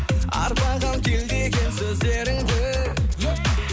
арбаған кеудеге сөздеріңді е